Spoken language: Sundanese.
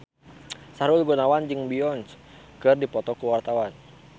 Sahrul Gunawan jeung Beyonce keur dipoto ku wartawan